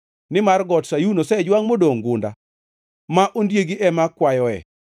nimar got Sayun, osejwangʼ modongʼ gunda ma ondiegi ema kwayoe.